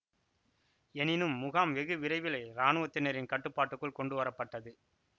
எனினும் முகாம் வெகு விரைவிலே இராணுவத்தினரின் கட்டுப்பாட்டுக்குள் கொண்டு வரப்பட்டது